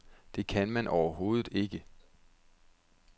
Det kan man overhovedet ikke.